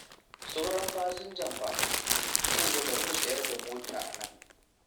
Sauran fasinjan fa? Kun ga bari mu tsayar da motar a nan.